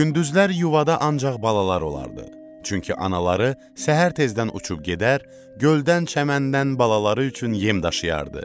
Gündüzlər yuvada ancaq balalar olardı, çünki anaları səhər tezdən uçub gedər, göldən-çəməndən balaları üçün yem daşıyardı.